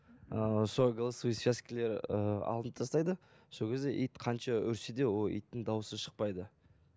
ыыы сол голосовой связкалар ы алынып тастайды сол кезде ит қанша үрсе де ол иттің дауысы шықпайды